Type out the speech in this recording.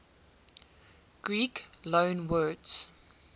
greek loanwords